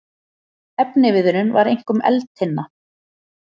Efniviðurinn var einkum eldtinna.